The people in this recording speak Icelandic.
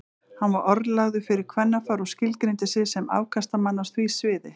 Hann var orðlagður fyrir kvennafar og skilgreindi sig sem afkastamann á því sviði.